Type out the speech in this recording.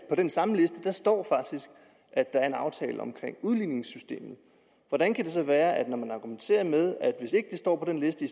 på den samme liste står at der er en aftale om udligningssystemet hvordan kan det så være at når man argumenterer med at hvis ikke det står på den liste